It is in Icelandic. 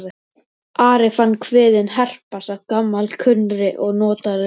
Ari fann kviðinn herpast af gamalkunnri og notalegri spennu.